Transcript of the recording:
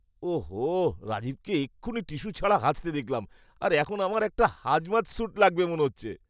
ও হো, রাজীবকে এক্ষুণি টিস্যু ছাড়া হাঁচতে দেখলাম, আর এখন আমার একটা হাজমাত স্যুট লাগবে মনে হচ্ছে।